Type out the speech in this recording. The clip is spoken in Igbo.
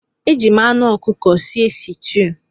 Eji m anh ọkụkọ sie sitew.